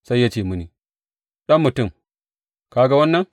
Sai ya ce mini, Ɗan mutum, ka ga wannan?